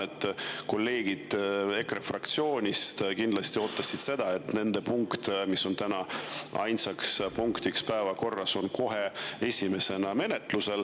Ma tean, et kolleegid EKRE fraktsioonist kindlasti ootasid seda, et nende punkt, mis on täna ainsa punktina päevakorras, on kohe esimesena menetlusel.